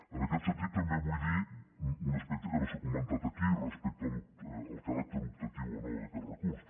en aquest sentit també vull dir un aspecte que no s’ha comentat aquí respecte al caràcter optatiu o no d’aquest recurs